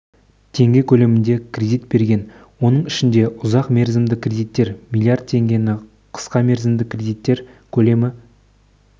теңге көлемінде кредит берген оның ішінде ұзақ мерзімді кредиттер млрд теңгені қысқа мерзімді кредиттер көлемі